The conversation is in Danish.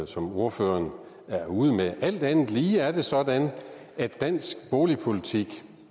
som ordføreren er ude meter alt andet lige er det sådan at dansk boligpolitik